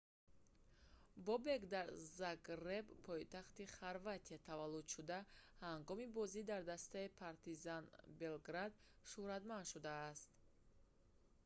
бобек дар загреб пойтахти хорватия таваллуд шуда ҳангоми бозӣ дар дастаи партизан белград шуҳратманд шудааст